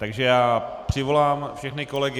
Takže já přivolám všechny kolegy.